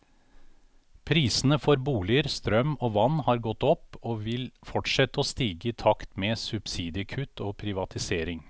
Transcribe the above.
Prisene for boliger, strøm og vann har gått opp, og vil fortsette å stige i takt med subsidiekutt og privatisering.